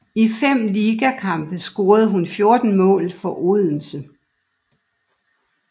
I fem ligakampe scorede hun 14 mål for Odense